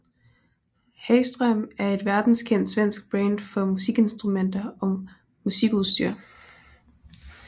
Hagström er et verdenskendt svensk brand for musikinstrumenter og musikudstyr